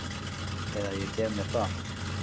Eða ég gef mér það.